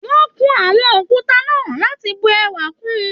Wọn kún àwọn òkúta náà láti bù ẹwà kún.